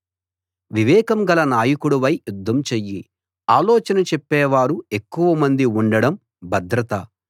వివేకం గల నాయకుడివై యుద్ధం చెయ్యి ఆలోచన చెప్పేవారు ఎక్కువ మంది ఉండడం భద్రత